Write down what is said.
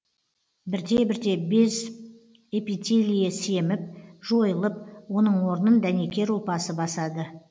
бірте бірте без эпителиі семіп жойылып оның орнын дәнекер ұлпасы басады